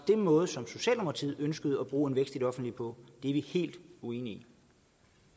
måde som socialdemokraterne ønsker at bruge en vækst i det offentlige på er vi helt uenige